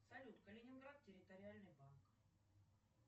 салют калининград территориальный банк